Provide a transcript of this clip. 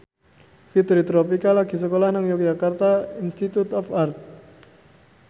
Fitri Tropika lagi sekolah nang Yogyakarta Institute of Art